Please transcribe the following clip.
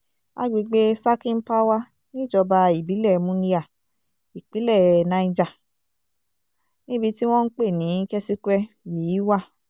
àgbègbè sakin pawa níjọba ìbílẹ̀ munya ìpínlẹ̀ niger níbi tí wọ́n ń pè ní kesikwe yìí wà